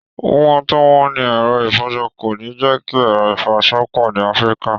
Wíwọ́n tó wọ́n ni ẹ̀rọ ìfọṣọ kò ní jẹ́ kí ẹ̀rọ ìfọṣọ pọ̀ ní Afrika